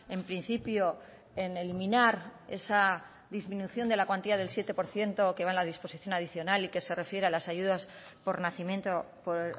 en principio en eliminar esa disminución de la cuantía del siete por ciento que va en la disposición adicional y que se refiere a las ayudas por nacimiento por